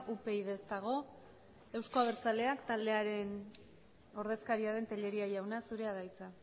upyd ez dago euzko abertzaleak taldearen ordezkaria den tellería jauna zurea da hitza